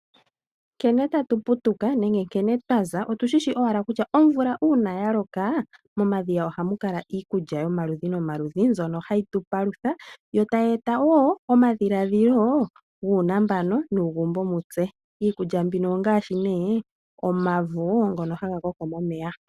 Nkene tatu putuka nenge nkene twaza otushi wala kutya uuna omvula ya loka, momadhiya ohamu kala iikulya yomaludhi no maludhi mbyoka hayi tubpalutha, yo tayi eta woo omadhiladhilo guunambano nuugumbo mutse. Iikulya mbika ongashi ne omavo, ngoka haga koko momeya.